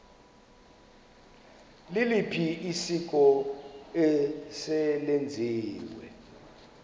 liliphi isiko eselenziwe